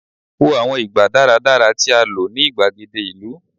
wo àwọn ìgbà daradara ti a lo ni igbagede ìlú